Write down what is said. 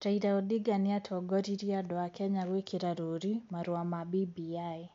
Raila Odinga nĩatongoririe andũ a Kenya gwĩkĩra rũũri marũa ma BBI,